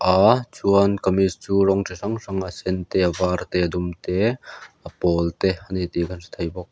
a chuan kamis chu rawng chi hrang hrang a sen te a var te a dum te a pawl te a ni tih kan hre thei bawk.